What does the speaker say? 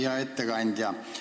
Hea ettekandja!